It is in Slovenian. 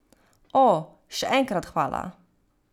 O, še enkrat hvala.